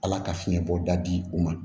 Ala ka fiɲɛbɔ da di u ma